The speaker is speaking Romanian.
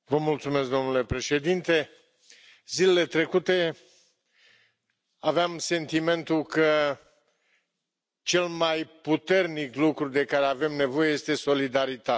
Domnule Președinte, zilele trecute aveam sentimentul că cel mai puternic lucru de care avem nevoie este solidaritatea.